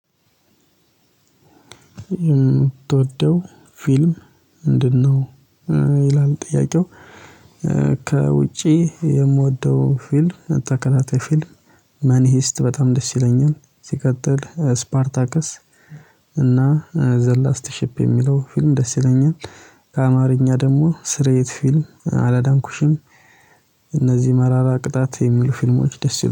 የምትወደው ፊልም ምንድነው? ይላል ጥያቄው ከውጪ የምወደው ፊልም ተከላታይ ፊልም መኒሂስት በጣም ደስ ይለኛል ሲቀጥል ስፓርታክስ እና ዘላስቲሺፕ የሚለው ፊልም ደስ ይለኛል ከአማርኛ ደግሞ ስርየት ፊልም አላዳንኩሽም እነዚህ መራራ ቅጣት የሚሉ ፊልሞች ደስ ይላሉ